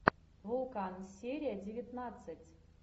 вулкан серия девятнадцать